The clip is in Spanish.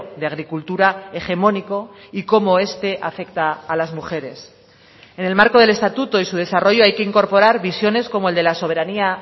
de agricultura hegemónico y cómo este afecta a las mujeres en el marco del estatuto y su desarrollo hay que incorporar visiones como el de la soberanía